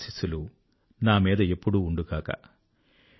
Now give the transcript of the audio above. మీ ఆశీస్సులు నా మీద ఎప్పుడూ ఉండుగాక